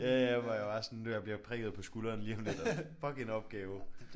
Ja ja hvor jeg bare sådan jeg bliver prikket på skulderen lige om lidt og fuck en opgave